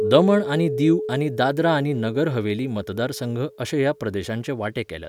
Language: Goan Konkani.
दमण आनी दीव आनी दादरा आनी नगर हवेली मतदारसंघ अशे ह्या प्रदेशाचे वांटे केल्यात.